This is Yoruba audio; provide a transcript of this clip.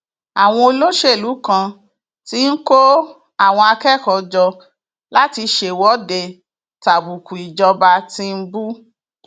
àwọn olóṣèlú kan ti ń kó àwọn akẹkọọ jọ láti ṣèwọde tàbùkù ìjọba tìǹbù